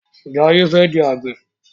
Jaye fè di Àgbẹ̀.